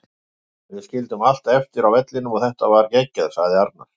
Við skildum allt eftir á vellinum og þetta var geggjað, sagði Arnar.